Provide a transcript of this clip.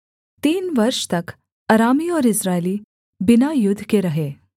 तीन वर्ष तक अरामी और इस्राएली बिना युद्ध के रहे